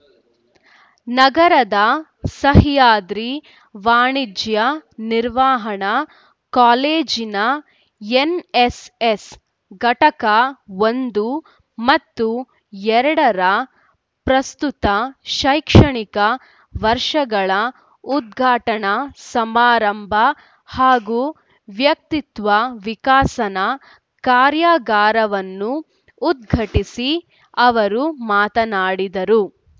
ನಗರದ ಸಹ್ಯಾದ್ರಿ ವಾಣಿಜ್ಯ ನಿರ್ವಹಣಾ ಕಾಲೇಜಿನ ಎನ್‌ಎಸ್‌ಎಸ್‌ ಘಟಕ ಒಂದು ಮತ್ತು ಎರಡರ ಪ್ರಸ್ತುತ ಶೈಕ್ಷಣಿಕ ವರ್ಷಗಳ ಉದ್ಘಾಟನಾ ಸಮಾರಂಭ ಹಾಗೂ ವ್ಯಕ್ತಿತ್ವ ವಿಕಸನ ಕಾರ್ಯಾಗಾರವನ್ನು ಉದ್ಘಟಿಸಿ ಅವರು ಮಾತನಾಡಿದರು